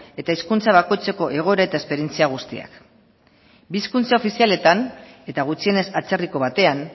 eta hizkuntza bakoitzeko egoera eta esperientzia guztiak bi hizkuntza ofizialetan eta gutxienez atzerriko batean